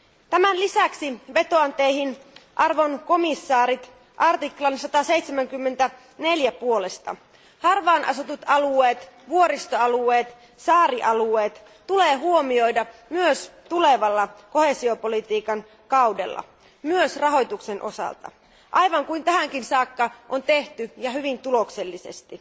Tämän lisäksi vetoan Teihin, arvoisat komission jäsenet, 174 artiklan puolesta harvaanasutut alueet, vuoristoalueet ja saarialueet tulee huomioida myös tulevalla koheesiopolitiikan kaudella, myös rahoituksen osalta, aivan kuin tähänkin saakka on tehty ja hyvin tuloksellisesti.